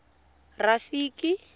rafiki